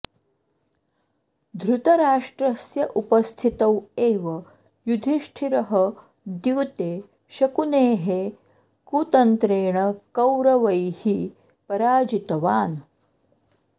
धृतराष्ट्रस्य उपस्थितौ एव युधिष्ठिरः द्यूते शकुनेः कुतन्त्रेण कौरवैः पराजितवान्